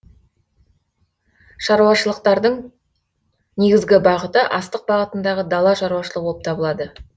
шаруашылықтардың негізгі бағыты астық бағытындағы дала шаруашылығы болып табылады